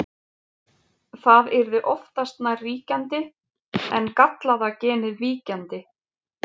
það yrði oftast nær ríkjandi en gallaða genið víkjandi